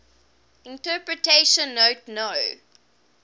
interpretation note no